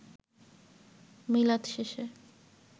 মিলাদ শেষে